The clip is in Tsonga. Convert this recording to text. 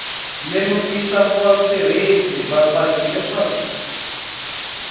lemukisa vatirhisi va patu leswaku